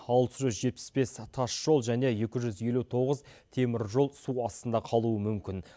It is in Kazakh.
алты жүз жетпіс бес тас жол және екі жүз елу тоғыз темір жол су астында қалуы мүмкін